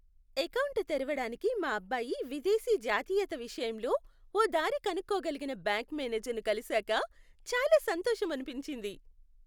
Account తెరవడానికి మా అబ్బాయి విదేశీ జాతీయత విషయంలో ఓ దారి కనుక్కోగలిగిన బ్యాంక్ మేనేజర్ను కలిసాక చాలా సంతోషమనిపించింది.